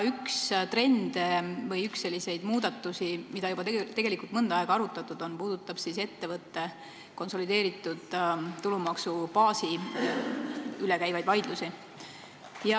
Üks trende või muudatusi, mida juba mõnda aega arutatud on, puudutab ettevõtte konsolideeritud tulumaksubaasi üle käivaid vaidlusi.